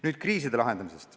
Nüüd kriiside lahendamisest.